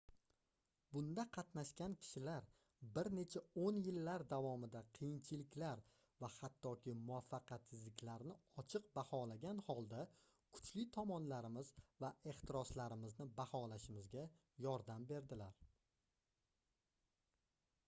bunda qatnashgan kishilar bir necha oʻn yillar davomida qiyinchiliklar va hattoki muvaffaqiyatsizliklarni ochiq baholagan holda kuchli tomonlarimiz va ehtiroslarimizni baholashimizga yordam berdilar